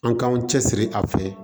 An k'an cɛsiri a fɛ